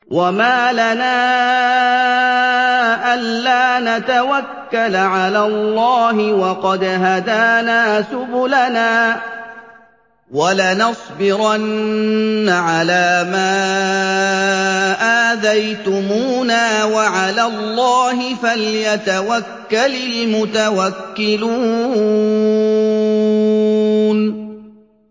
وَمَا لَنَا أَلَّا نَتَوَكَّلَ عَلَى اللَّهِ وَقَدْ هَدَانَا سُبُلَنَا ۚ وَلَنَصْبِرَنَّ عَلَىٰ مَا آذَيْتُمُونَا ۚ وَعَلَى اللَّهِ فَلْيَتَوَكَّلِ الْمُتَوَكِّلُونَ